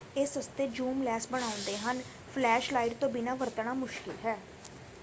ਇਹ ਸਸਤੇ zoom lens ਬਣਾਉਂਦੇ ਹਨ ਫਲੈਸ਼ ਲਾਈਟ ਤੋਂ ਬਿਨਾਂ ਵਰਤਣਾ ਮੁਸ਼ਕਿਲ ਹੈ।